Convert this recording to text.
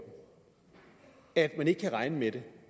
at man ikke kan regne med det